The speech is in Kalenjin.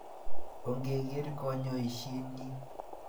ongegeer kanyoishenyi